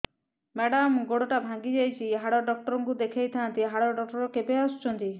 madam ଗୋଡ ଟା ଭାଙ୍ଗି ଯାଇଛି ହାଡ ଡକ୍ଟର ଙ୍କୁ ଦେଖାଇ ଥାଆନ୍ତି ହାଡ ଡକ୍ଟର କେବେ ଆସୁଛନ୍ତି